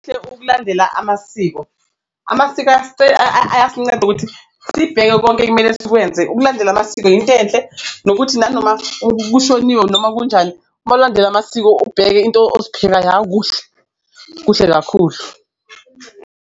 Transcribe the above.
Ukulandela amasiko, amasiko ayasinceda ukuthi sibheke konke ekumele sikwenze, ukulandela amasiko into enhle nokuthi nanoma kushoniwe noma kunjani uma ulandela amasiko ubheke into kuhle, kuhle kakhulu.